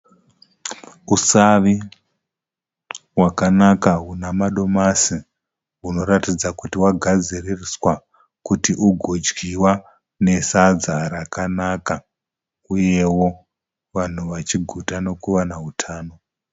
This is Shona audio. Usavi hwakanaka hunemadomasi hunoratidza kuti hwagadziriswa kuti ugodyiwa nesadzarakanaka uyewo vanhu vachiguta nekuwana hutano.